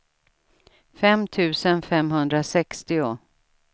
fem tusen femhundrasextio